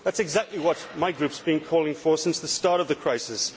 That is exactly what my group has been calling for since the start of the crisis.